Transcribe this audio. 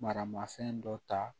Marama fɛn dɔ ta